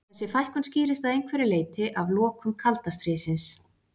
Þessi fækkun skýrist að einhverju leyti af lokum kalda stríðsins.